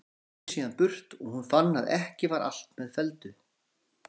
Þeir keyrðu síðan burt og hún fann að ekki var allt með felldu.